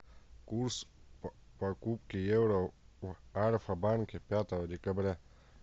курс покупки евро в альфа банке пятого декабря